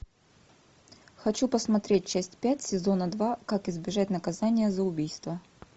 хочу посмотреть часть пять сезона два как избежать наказания за убийство